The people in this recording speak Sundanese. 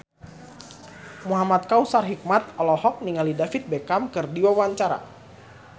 Muhamad Kautsar Hikmat olohok ningali David Beckham keur diwawancara